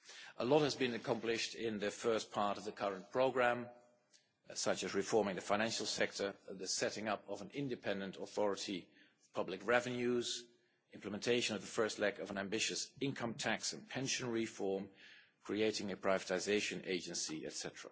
A lot has been accomplished in the first part of the current programme, such as reform in the financial sector, the setting up of an independent authority of public revenues, implementation of the first leg of an ambitious income tax and pension reform and the creation of a privatisation agency, etc.